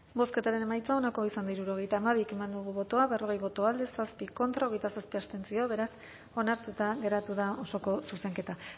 bozketaren emaitza onako izan da hirurogeita hamabi eman dugu bozka berrogei boto alde zazpi contra hogeita zazpi abstentzio beraz onartuta geratu da osoko zuzenketa